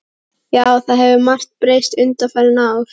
Já, það hefur margt breyst undanfarin ár.